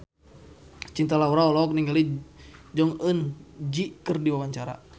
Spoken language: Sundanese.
Cinta Laura olohok ningali Jong Eun Ji keur diwawancara